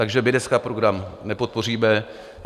Takže my dneska program nepodpoříme.